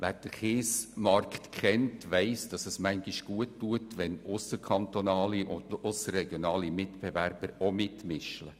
Wer den Kiesmarkt kennt, weiss dass es manchmal gut tut, wenn auch ausserkantonale und ausserregionale Mitbewerber mitmischen.